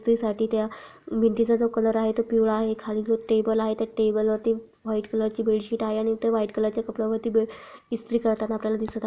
साठी त्या भिंतीचा जो कलर आहे तो पिवळा आहे खाली जो टेबल आहे त्या टेबल वरती व्हाइट कलर ची बेडशीठ आहे आणि इथ व्हाइट कलरचे कपड्यावरती इस्त्री करताना आपल्याला दिसत आ--